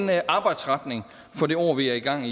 være en arbejdsretning for det år vi er i gang